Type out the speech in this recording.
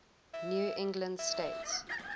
new england states